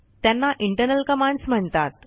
त्यांना internal commands म्हणतात